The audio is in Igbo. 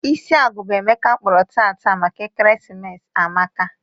Isi agụba Emeka kpụrụ taata maka ekeresimesi amaka.